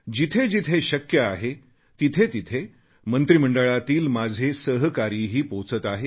जिथे जिथे शक्य आहे तिथे तिथे मंत्रिमंडळातील माझे सहकारीही पोहोचत आहेत